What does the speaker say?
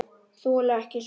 Þoli ekki svona bið.